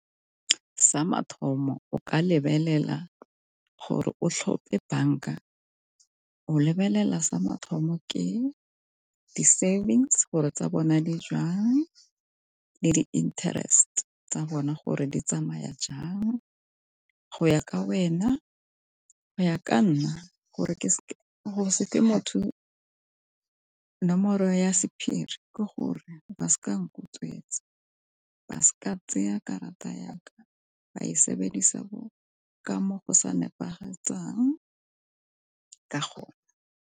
Sa mathomo o ka lebelela gore o tlhompe banka o lebelela sa mathomo ke di-savings gore tsa bona di jwang le di-interest tsa bona gore di tsamaya jang. Go ya ka wena, go ya ka nna go se fe motho nomoro ya sephiri ke gore ba seka nkutswetsa, ba seka tseya karata yaka ba e sebedisa ka mo go sa nepagetseng ka go.